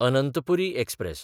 Anantpuri express